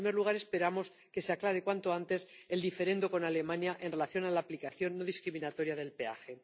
En primer lugar, esperamos que se aclare cuanto antes el diferendo con Alemania en relación con la aplicación no discriminatoria del peaje.